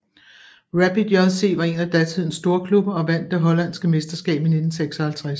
Rapid JC var en af datidens storklubber og vandt det hollandske mesterskab i 1956